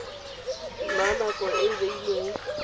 na nako e e beilweng